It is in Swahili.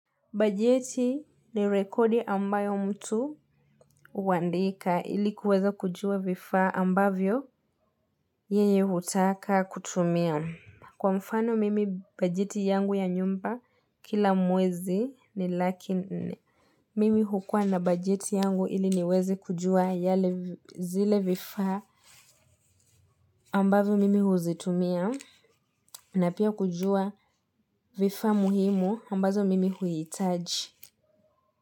Bajeti ni rekodi ambayo mtu huandika ili kuweza kujua vifaa ambavyo yenye hutaka kutumia. Kwa mfano mimi bajeti yangu ya nyumba kila mwezi ni laki nne. Mimi hukua na bajeti yangu ili niweze kujua zile vifaa ambazo mimi huzitumia na pia kujua vifaa muhimu ambavyo mimi huhitaji.